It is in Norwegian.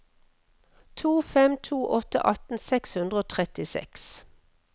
to fem to åtte atten seks hundre og trettiseks